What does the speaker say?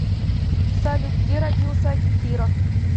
салют где родился акихиро